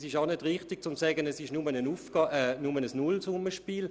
Es ist auch nicht richtig, zu sagen, es handle sich lediglich um ein Nullsummenspiel.